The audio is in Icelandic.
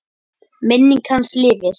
Minning hans lifir.